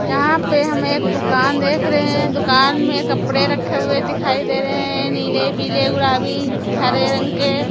यहाँ पे हम एक दुकान देख रहे हैं दुकान में कपड़े रखे हुए दिखाई दे रहे हैं नीले पीले गुलाबी हरे रंग के।